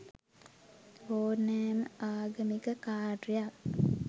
ඕනෑම ආගමික කාර්යයක්